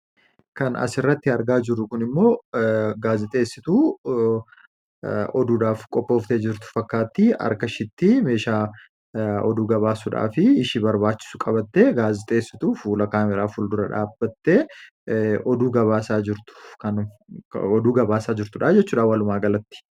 Kan asirratti argaa jirru kun immoo gaazixeessituu oduudhaaf qophooftee jirtu fakkaatti. Harka ishiitti meeshaa oduu gabaasuudhaaf ishii barbaachisu qabattee gaazixeessituu fuula kaameeraa fuuldura dhaabbattee oduu gabaasaa jirtu ,kan oduu gabaasaa jirtu dha walumaagalatti.